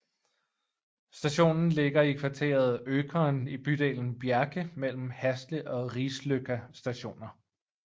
Stationen ligger i kvarteret Økern i bydelen Bjerke mellem Hasle og Risløkka Stationer